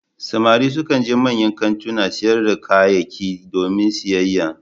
Samari sukan je manyan kantunan sayar da kayyaki domin siyayya,